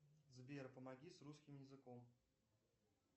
сбер помоги с русским языком